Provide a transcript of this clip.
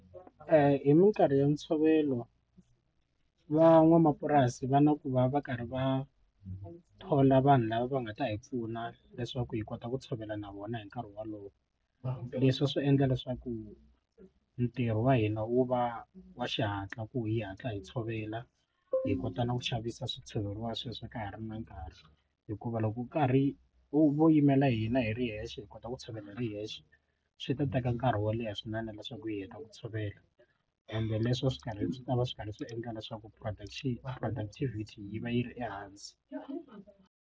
Hi minkarhi ya ntshovelo van'wamapurasi va na ku va va karhi va thola vanhu lava va nga ta hi pfuna leswaku hi kota ku tshovela na vona hi nkarhi wolowo leswi swi endla leswaku ntirho wa hina wu va wa xihatla ku hi hatla hi tshovela hi kota na ku xavisa swi tshoveriwa sweswi a ka ha ri na nkarhi hikuva loko wu karhi wu vo yimela hina hi ri yexe kota ku tshovela hi ri yexe swi ta teka nkarhi wo leha swinene leswaku hi heta ku tshovela ende leswo swi karhi swi ta va swi karhi swi endla leswaku production productivity yi va yi ri ehansi.